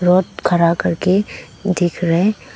rod खड़ा करके देख रहे--